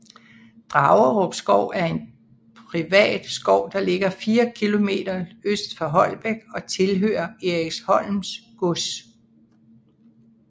Dragerup Skov er en privat skov der ligger 4 km øst for Holbæk og tilhører Eriksholm Gods